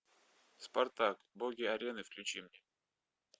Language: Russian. спартак боги арены включи мне